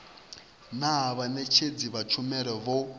naa vhaṋetshedzi vha tshumelo vho